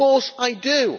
Of course I do.